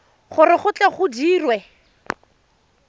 gore go tle go dirwe